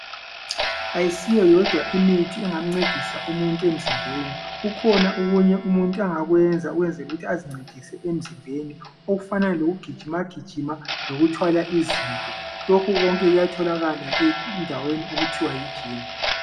Ayisiyo yodwa imithi engamncedisa umuntu emzimbeni kukhona okunye umuntu angakwenza ukwenzela ukuthi azincedise emzimbeni okufana lokugijima gijima lokuthwala izinto lokhu konke kuyatholakala endaweni okuthiwa yi"gym".